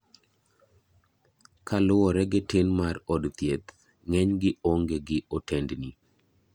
Kaluwore gi tin mar od thieth ,ng'eny gi ong'e gi otendni.